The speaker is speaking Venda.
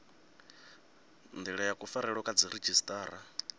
ndila ya kufarelwe kwa dziredzhisiṱara